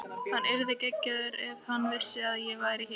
Hann yrði geggjaður ef hann vissi að ég var hérna.